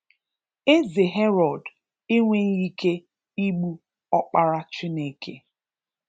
Eze Herod enweghi ike igbu Ọkpara Chineke